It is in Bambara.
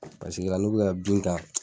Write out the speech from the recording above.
Paseke la, n'u bi ka bin ta.